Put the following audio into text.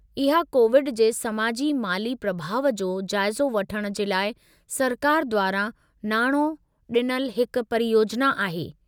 इहा कोविड जे समाजी-माली प्रभाउ जो जाइज़ो वठण जे लाइ सरकार द्वारां नाणो डि॒नलु हिकु परियोजना आहे।